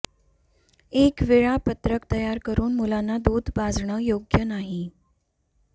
एक वेळापत्रक तयार करून मुलांना दूध पाजणं योग्य नाही